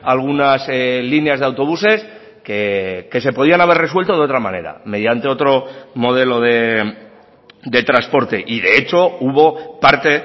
algunas líneas de autobuses que se podían haber resuelto de otra manera mediante otro modelo de transporte y de hecho hubo parte